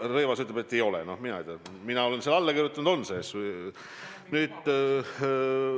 Rõivas ütleb, et ei ole, noh mina ei tea, mina olen sellele alla kirjutanud ja väidan, et on sees.